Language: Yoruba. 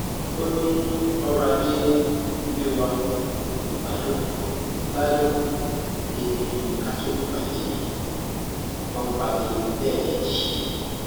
ó ní ọrọ ajé ilé wa kò gbádùn gbádùn débìí ká tún lùgbàdì kọńpàlélẹẹkejì